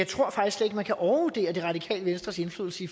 tror at man kan overvurdere det radikale venstres indflydelse i